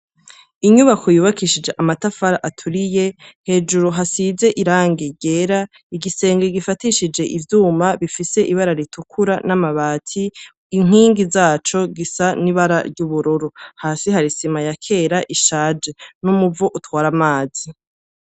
Inyubako yubakishijwe amatafari aturiye, hejuru hasize irangi ryera, igisenge gifatishie ivyuma bifise ibara ritukura n'amabati, inkingi zaco zisa n'ibara ry'ubururu. Hasi hari isima ishaje n'umuvo utwara amazi.